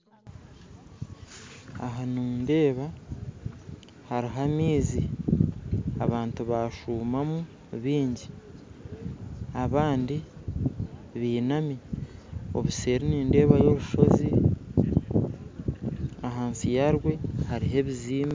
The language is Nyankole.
Aha nindeeba hariho amaizi abantu bashumamu bingyi, abandi binami obuseeri nindebayo orushoozi ahansi yarwe harihe ebizimbe